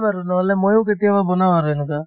বাৰু নহলে ময়ো কেতিয়াবা বনাও আৰু এনেকুৱা